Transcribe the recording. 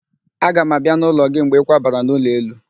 Aga m abịa n'ụlọ gị mgbe ịkwabara n'ụlọ elu